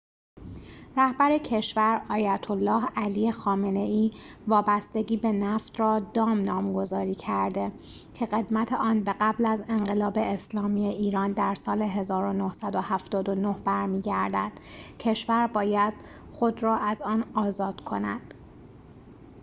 رهبر کشور آیت الله علی خامنه ای وابستگی به نفت را دام نامگذاری کرده که قدمت آن به قبل از انقلاب اسلامی ایران در سال ۱۹۷۹ برمی‌گردد کشور باید خود را از آن آزاد کند